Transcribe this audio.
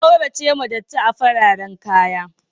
A kauracewa datti a fararan kaya.